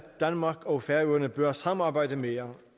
danmark og færøerne bør samarbejde mere